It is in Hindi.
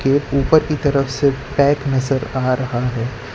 ये ऊपर की तरफ से पैक नजर आ रहा है।